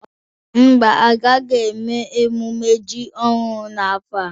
Ḿbà, agaghị eme emume ji ọhụrụ n'afọ a.